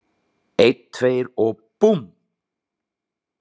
Einn, tveir og búmm!